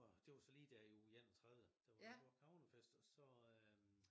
Det var så lige der i uge 31 der var der Bork havnefest og så øh